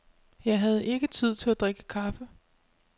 Jeg havde ikke tid til at drikke kaffe.